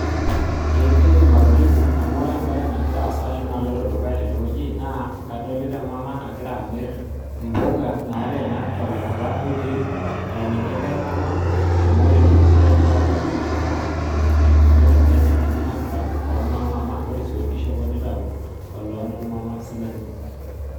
Ee kaidim atolimu amu ore embae nagira asa ashu naloto dukuya tenewueji na kadolta emama nagira amir mpuka nateena tolakira oitik aeniki enkae mama amu ore empukune enye patejo emama na ibungita embene omama ore su orkishopo nitau olo nomama sininye.